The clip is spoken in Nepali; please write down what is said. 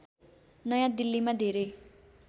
नयाँ दिल्लीमा धेरै